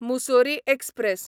Mussoorie express